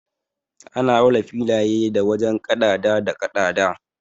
Ana auna filaye da wajen kaɗada da kaɗada.